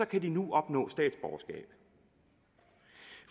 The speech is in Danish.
kan de nu opnå statsborgerskab